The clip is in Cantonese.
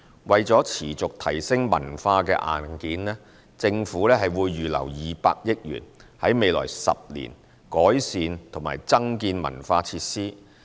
為持續提升文化硬件，政府會預留200億元，在未來10年改善及增建文化設施。